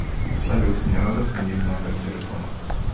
салют мне надо сменить номер телефона